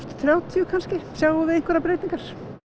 þrjátíu kannski sjáum við einhverjar breytingar